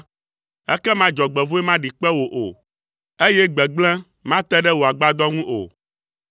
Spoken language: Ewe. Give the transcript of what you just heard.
ekema dzɔgbevɔ̃e maɖi kpe wò o, eye gbegblẽ mate ɖe wò agbadɔ ŋu o,